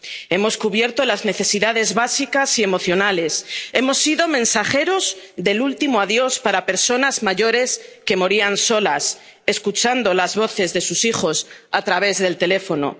Hemos cubierto las necesidades básicas y emocionales, hemos sido mensajeros del último adiós para personas mayores que morían solas, escuchando las voces de sus hijos a través del teléfono.